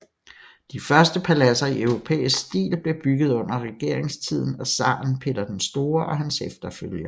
De første paladser i europæisk stil blev bygget under regeringstiden af zaren Peter den Store og hans efterfølgere